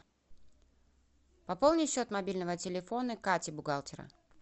пополни счет мобильного телефона кати бухгалтера